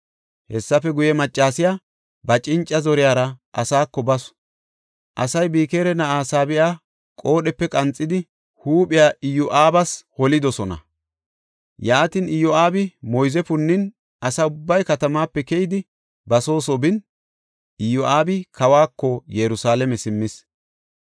Hessafe guye, maccasiya ba cinca zoriyara asaako basu. Asay Bikira na7aa Saabe7a qoodhepe qanxidi huuphiya Iyo7aabas holidosona. Yaatin, Iyo7aabi moyze punnin asa ubbay katamaape keyidi, ba soo soo bin, Iyo7aabi kawako Yerusalaame simmis.